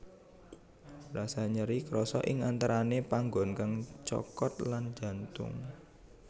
Rasa nyeri krasa ing antarane panggon kang dicokot lan jantung